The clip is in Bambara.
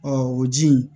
o ji in